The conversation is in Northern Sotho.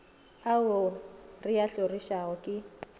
ao re a hlorišago ke